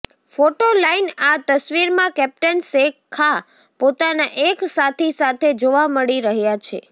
photo line આ તસવીરમાં captain Sher Khan પોતાના એક સાથી સાથે જોવા મળી રહ્યા છે